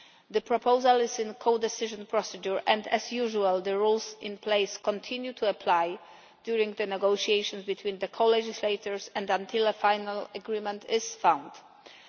The proposal is in codecision procedure, and, as usual, the rules in place continue to apply during the negotiations between the co legislators and until a final agreement is reached.